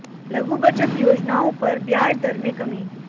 लघु बचत योजनाओं पर ब्याज दर में कमी